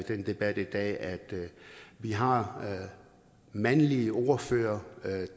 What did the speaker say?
her debat i dag at vi har mandlige ordførere